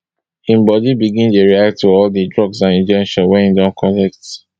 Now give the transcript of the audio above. im bodi begin dey react to all di drugs and injections wey e don collect